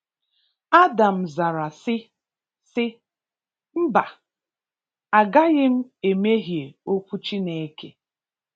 Adam zara sị, sị, “Mba! a gaghị m emehie okwu Chineke”.